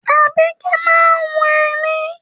Àbíkẹ́ máa ń hun ẹní.